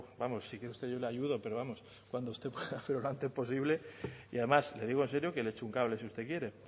vamos si quiere usted yo le ayudo pero vamos cuando usted pueda pero lo antes posible y además le digo en serio que le echo un cable si usted quiere